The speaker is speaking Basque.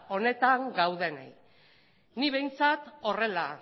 honetan gaudenei ni behintzat horrela